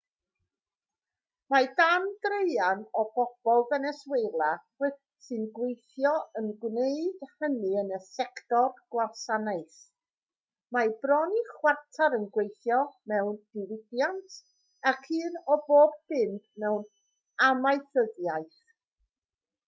mae dau draean o bobl feneswela sy'n gweithio yn gwneud hynny yn y sector gwasanaeth mae bron i chwarter yn gweithio mewn diwydiant ac un o bob pump mewn amaethyddiaeth